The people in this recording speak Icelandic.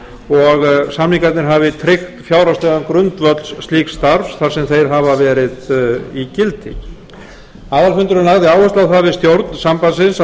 og samningarnir hafi tryggt fjárhagslegan grundvöll slíks starfs þar sem þeir hafa verið í gildi aðalfundurinn lagði áherslu á það við stjórn sambandsins